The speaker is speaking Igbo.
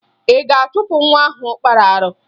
Ị ga-achụpụ nwa ahụ kpara arụ?